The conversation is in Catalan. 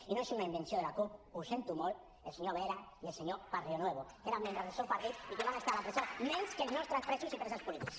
i no és un invenció de la cup ho sento molt el senyor vera i el senyor barrionuevo que eren membres del seu partit i que van estar a la presó menys que els nostres presos i preses polítiques